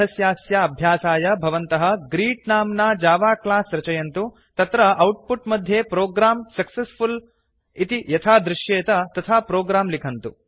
पाठस्यास्य अभ्यासाय भवन्तः ग्रीट् नाम्ना जावा क्लास् रचयन्तु तत्र औट्पुट् मध्ये प्रोग्रं सक्सेसफुल इति यथा दृशेत तथा प्रोग्राम् लिखन्तु